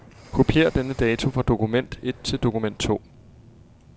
Kopier denne dato fra dokument et til dokument to.